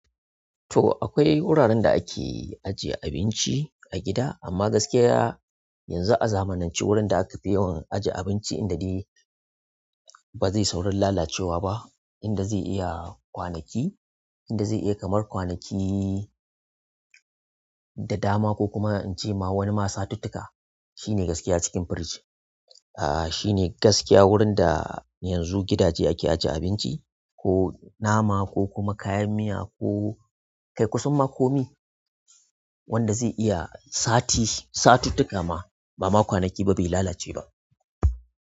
To akwai wuraren da ake ajiye abinci a gida amma gaskiya yanzu a zamanance wurin da aka fi yawan ajiye abinci inda dai ba zai saurin lalacewa ba, inda zai iya kwanaki, inda zai iya kamar kwanaki da dama ko kuma in ce ma wani ma satuttuka shine gaskiya cikin firiji. Shine gaskiya wurin da yanzu gidaje ake ajiye abinci ko nama ko kuma kayan miya ko kai kusar ma komi wanda zai iya sati satuttuka ma ba ma kwanaki ba bai lalace ba.